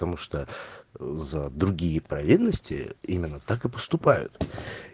потому что за другие провинности именно так и поступают